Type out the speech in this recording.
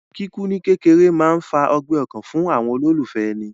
Kíkú ní kékeré máa ń fa ọgbẹ́ ọkàn fún àwọn olólùfẹ́ èni